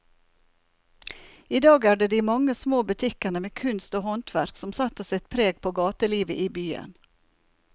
I dag er det de mange små butikkene med kunst og håndverk som setter sitt preg på gatelivet i byen.